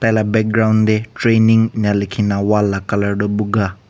la background dey training inika likhi na wall la colour toh buka.